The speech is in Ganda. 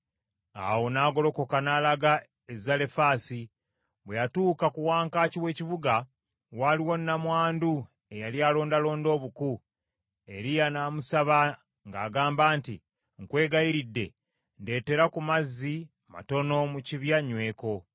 Awo n’agolokoka n’alaga e Zalefaasi. Bwe yatuuka ku wankaaki w’ekibuga, waliwo nnamwandu eyali alondalonda obuku. Eriya n’amusaba ng’agamba nti, “Nkwegayiridde, ndeetera ku mazzi matono mu kibya nnyweko.”